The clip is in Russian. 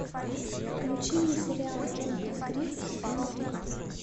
включи мне сериал джонатан крик сезон три